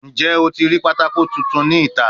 Njẹ o ti rii patako tuntun ni ita?